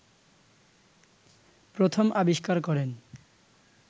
প্রথম আবিষ্কার করেন